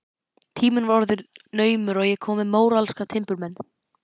Tíminn var orðinn naumur og ég komin með móralska timburmenn.